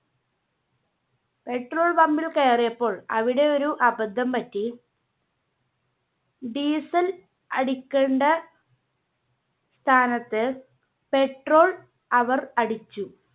Petrol Pumb ൽ കയറിയപ്പോൾ അവിടെ ഒരു അബദ്ധം പറ്റി Diesel അടിക്കണ്ട സ്ഥാനത്ത് Petrol അവർ അടിച്ചു.